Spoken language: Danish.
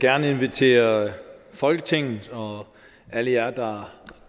gerne invitere folketinget og alle jer der